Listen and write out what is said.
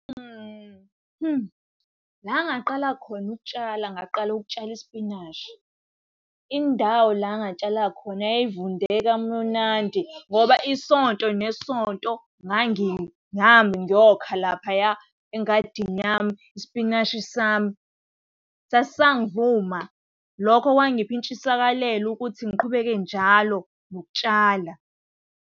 La engaqala khona ukutshala ngaqala ukutshala isipinashi. Indawo la engatshala khona yayivunde kamunandi, ngoba isonto nesonto nami ngiyokha laphaya engadini yami. Isipinashi sami sasisangivuma. Lokho kwangipha intshisakalelo ukuthi ngiqhubeke njalo nokutshala.